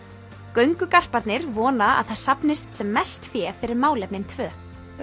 göngugarparnir vona að það safnist sem mest fé fyrir málefnin tvö